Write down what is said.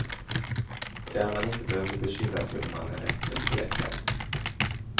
Och där man inte behöver bekymra sig om man är rätt eller fel klädd.